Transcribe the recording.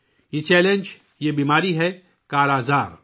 یہ چیلنج، یہ بیماری ہے 'کالا آزار'